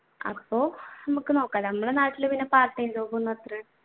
അപ്പൊ നമുക്ക് നോക്കാലോ നമ്മളുടെ നാട്ടിൽ പിന്നെ part time job ഒന്നും അത്രയും